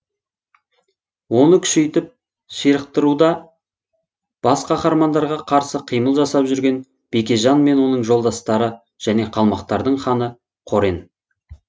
оны күшейтіп ширықтыруда бас қаһармандарға қарсы қимыл жасап жүрген бекежан мен оның жолдастары және қалмақтардың ханы қорен